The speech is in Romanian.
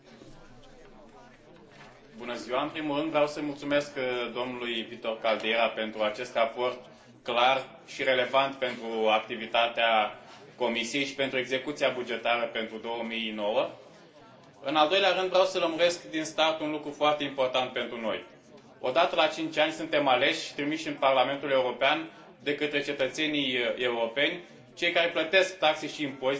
În primul rând vreau să îi mulțumesc domnului Victor Caldeira pentru acest raport clar și relevant pentru activitatea Comisiei și pentru execuția bugetară pentru 2009. În al doilea rând, vreau să lămuresc din start un lucru foarte important pentru noi o dată la cinci ani suntem aleși, trimiși în Parlamentul European de către cetățenii europeni, cei care plătesc taxe și impozite și care alcătuiesc, într un final, acest buget.